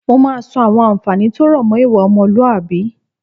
Mo máa sọ àwọn àǹfààní tó rọ̀ mọ́ ìwà ọmọlúwàbí